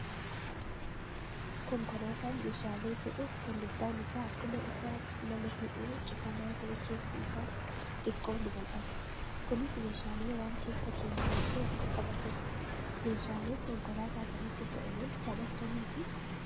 Konkolaataan meeshaalee fe'u kan gubbaan isaa akkuma isa nama fe'uu cufamaa ta'e keessi isaa xiqqoo ni bal'ata. Kunis meeshaalee waan keessa keenyu hedduu akka qabatuufi. Meeshaaleen konkolaataa kanatti fe'aman kan akkamiiti?